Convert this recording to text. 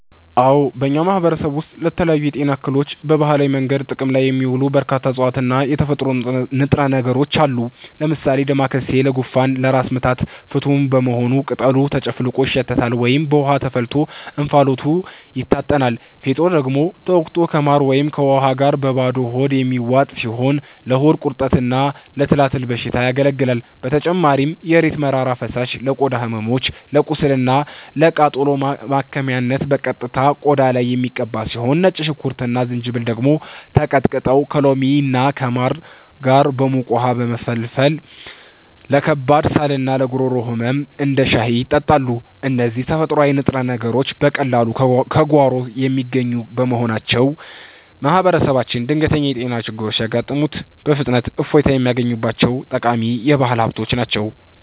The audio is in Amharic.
አዎ፣ በእኛ ማህበረሰብ ውስጥ ለተለያዩ የጤና እክሎች በባህላዊ መንገድ ጥቅም ላይ የሚውሉ በርካታ እፅዋትና የተፈጥሮ ንጥረ ነገሮች አሉ። ለምሳሌ ዳማከሴ ለጉንፋንና ለራስ ምታት ፍቱን በመሆኑ ቅጠሉ ተጨፍልቆ ይሸተታል ወይም በውሃ ተፈልቶ እንፋሎቱ ይታጠናል፤ ፌጦ ደግሞ ተወቅጦ ከማር ወይም ከውሃ ጋር በባዶ ሆድ የሚዋጥ ሲሆን ለሆድ ቁርጠትና ለትላትል በሽታ ያገለግላል። በተጨማሪም የእሬት መራራ ፈሳሽ ለቆዳ ህመሞች፣ ለቁስልና ለቃጠሎ ማከሚያነት በቀጥታ ቆዳ ላይ የሚቀባ ሲሆን፣ ነጭ ሽንኩርትና ዝንጅብል ደግሞ ተቀጥቅጠው ከሎሚና ከማር ጋር በሙቅ ውሃ በመፈልፈል ለከባድ ሳልና ለጉሮሮ ህመም እንደ ሻይ ይጠጣሉ። እነዚህ ተፈጥሯዊ ንጥረ ነገሮች በቀላሉ ከጓሮ የሚገኙ በመሆናቸው፣ ማህበረሰባችን ድንገተኛ የጤና ችግሮች ሲያጋጥሙት በፍጥነት እፎይታ የሚያገኝባቸው ጠቃሚ የባህል ሀብቶች ናቸው።